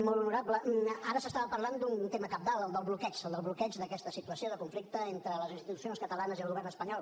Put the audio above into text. molt honorable ara s’estava parlant d’un tema cabdal el del bloqueig el del bloqueig d’aquesta situació de conflicte entre les institucions catalanes i el govern espanyol